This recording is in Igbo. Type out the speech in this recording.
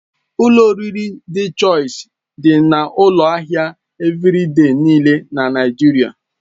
Ụlọ oriri Dị Chọisi dị na ụlọ ahịa Evịrịde niile na Naigeria.